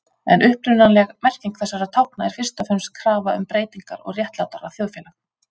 En upprunalega merking þessara tákna er fyrst og fremst krafa um breytingar og réttlátara þjóðfélag.